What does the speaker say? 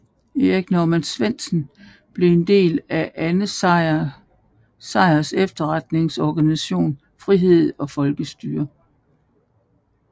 Erik Norman Svendsen blev en del af Arne Sejrs efterretningsorganisation Frihed og Folkestyre